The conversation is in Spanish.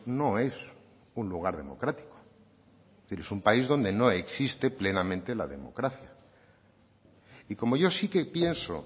no es un lugar democrático es decir es un país donde no existe plenamente la democracia y como yo sí que pienso